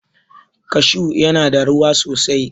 Kashu ya na da ruwa sosai